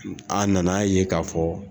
A nan'a ye k'a fɔ